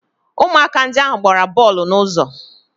Ụmụaka ndị ahụ gbara bọọlụ n'ụzọ